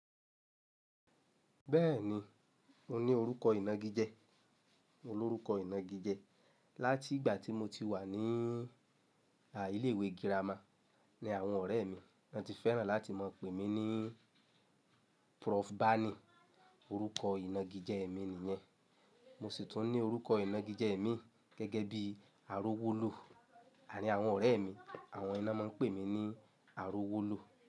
Bẹ́ẹ̀ni, mo ní orúkọ ìnagijẹ. Mo lórúkọ ìnagijẹ látigbà tí mo ti wà ní à ìlé ìwé gírámà ní àwọn ọ̀rẹ́ mi, wọ́n ti fẹ́ràn láti mọ̀o pé mí ní Prof. Bani. Orúkọ ìnagijẹ mi nìyẹn. Mo sì tún ní orúkọ ìnagijẹ mii gẹ́gẹ́ bíi Arówólo àarín àwọn ọ̀rẹ́ mi. Àwọn ni ná máa ń pè mí ní Arówólù.